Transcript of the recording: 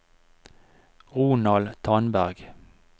Ronald Tandberg